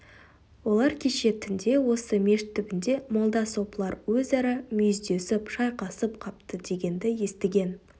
олар кеше түнде осы мешіт түбінде молда сопылар өзара мүйіздесіп шайқасып қапты дегенді естіген